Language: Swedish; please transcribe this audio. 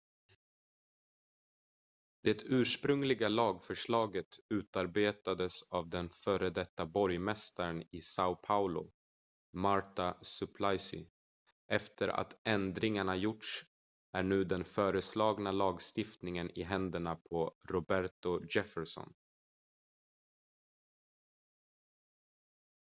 det ursprungliga lagförslaget utarbetades av den före detta borgmästaren i são paulo marta suplicy efter att ändringar gjorts är nu den föreslagna lagstiftningen i händerna på roberto jefferson